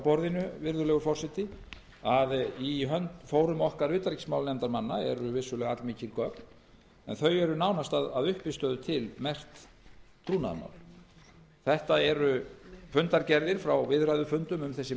borðinu virðulegur forseti að í fórum okkar utanríkismálanefndarmanna eru vissulega allmikil gögn en þau eru að uppistöðu til merkt trúnaðarmál þetta eru fundargerðir frá viðræðufundum um þessi